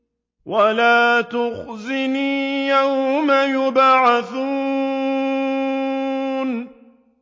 وَلَا تُخْزِنِي يَوْمَ يُبْعَثُونَ